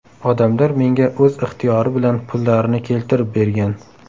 Odamlar menga o‘z ixtiyori bilan pullarini keltirib bergan.